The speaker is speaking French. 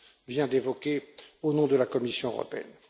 vient d'évoquer au nom de la Commission européenne.